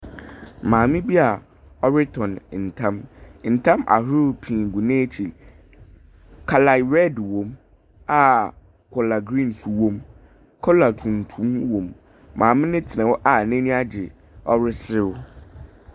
Maame bi a ɔrotɔn atam, atam ahorow pii gu n’ekyir, colour red wɔ mu a colour green so wɔ mu, colour tuntum wɔ mu. Maame no tsena hɔ n’enyi agye.